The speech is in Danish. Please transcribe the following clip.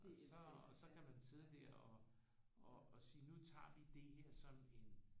Og så og så kan man sidde der og og sige nu tager vi det her som en